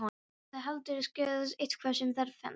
Hafði Baldur skrifað eitthvað sem þér fannst.